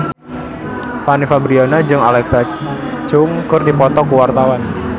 Fanny Fabriana jeung Alexa Chung keur dipoto ku wartawan